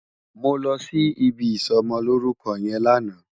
Mó lòsí ibi isòmòlórúkò yèn làná